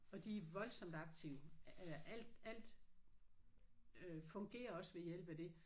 Og de er voldsomt aktive eller alt alt øh fungerer også ved hjælp af det